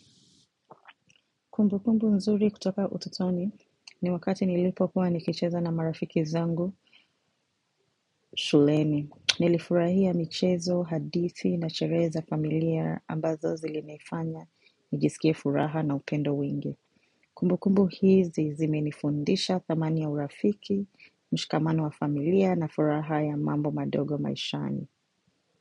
Kumbukumbu nzuri kutoka utotoni ni wakati nilipokuwa nikicheza na marafiki zangu shuleni. Nilifurahia michezo, hadithi na sherehe za familia ambazo zilinifanya nijisikie furaha na upendo wingi. Kumbukumbu hizi zimenifundisha dhamani ya urafiki, mshikamano wa familia na furaha ya mambo madogo maishani.